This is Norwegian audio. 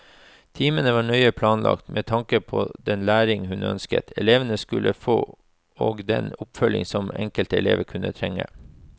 Timene var nøye planlagt, med tanke på den læring hun ønsket elevene skulle få og den oppfølging som enkelte elever kunne trenge.